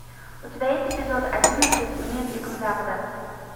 у тебя есть эпизод одиннадцать мир дикого запада